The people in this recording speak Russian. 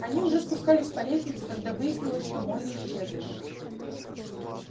они уже спускались по лестнице когда выяснилось что молли исчезла